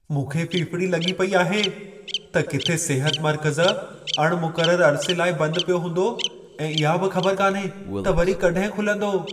मूंखे फ़िफ़िड़ी लॻी पेई आहे त किथे सिहत मर्कज़ अणमुक़रर अरिसे लाइ बंद पियो हूंदो ऐं इहा बि ख़बर कान्हे त वरी कॾहिं खुलंदो।